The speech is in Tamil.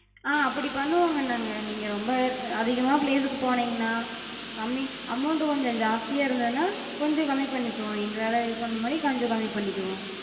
ஆஹ் அப்புடி பண்ணுவோங்க நாங்க. நீங்க ரொம்ப அதிகமா place க்கு போனிங்கனா, கம்மி amount கொஞ்சம் ஜாஸ்தியா இருந்ததுனா கொஞ்சம் கம்மி பண்ணிக்கிவோ, எங்களால இது பண்ண மாரி கொஞ்சம் கம்மி பண்ணிக்கிவோ.